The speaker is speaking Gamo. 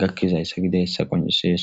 gakkizayssa gideyssa qoncisees